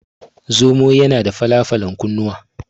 Zomo yana da fala falan kunnuwa.